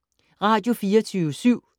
Radio24syv